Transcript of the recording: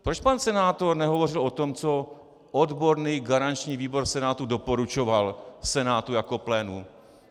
Proč pan senátor nehovořil o tom, co odborný garanční výbor Senátu doporučoval Senátu jako plénu?